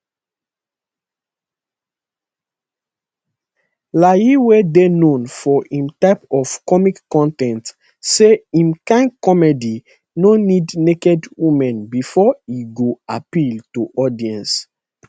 layi wey dey known for im type of comic con ten ts say im kain comedy no need naked women bifor e go appeal to audience